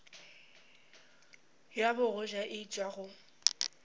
ya bogoja e tšwa go